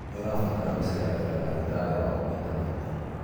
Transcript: Nĩ ũrabatara gũceragĩra ndagĩtarĩ waku maita maingĩ.